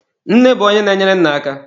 Nne bụ onye na-enyere nna aka.